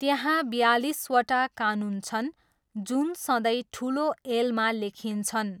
त्यहाँ बयालिसवटा कानुन छन्, जुन सधैँ ठुलो एलमा लेखिन्छन्।